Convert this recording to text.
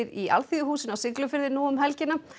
í Alþýðuhúsinu á Siglufirði nú um helgina